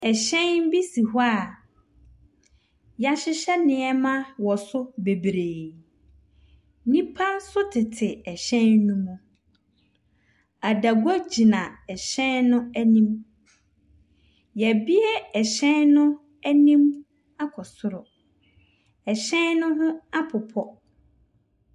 Ɛhyɛn bi si hɔ a wɔahyehyɛ nneɛma wɔ so bebree. Nnipa nso tete ɛhyɛn no mu. Adago gyina ɛhyɛ no anim. Wɔabue ɛhyɛn no anim akɔ soro. Ɛhyɛn no ho apopɔ.